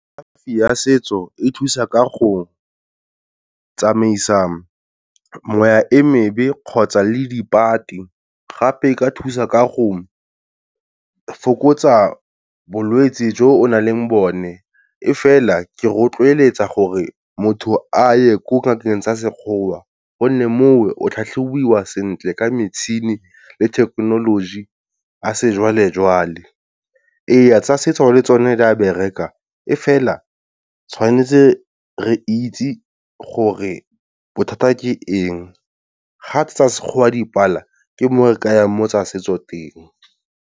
Kalafi ya setso e thusa ka go tsamaisa moya e mebe kgotsa le dibati. Gape e ka thusa ka go fokotsa bolwetsi jo o nang le bone, e fela ke rotloeletsa gore motho a ye ko ngakeng tsa sekgowa gonne moo o tlhatlhobiwa sentle ka mitšhini le thekenoloji ya sejwalejwale. Ee tsa setso le tsone di a bereka e fela tshwanetse re itse gore bothata ke eng, ga tsa sekgowa dipala ke mo re ka yang mo tsa setso teng.